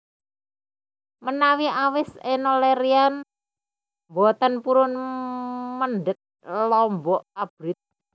Menawi awis Enno Lerian mboten purun mendhet lombok abrit